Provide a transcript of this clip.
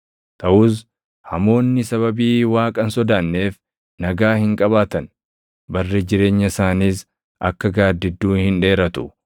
Taʼus hamoonni sababii Waaqa hin sodaanneef nagaa hin qabaatan; barri jireenya isaaniis akka gaaddidduu hin dheeratu.